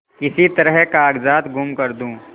किसी तरह कागजात गुम कर दूँ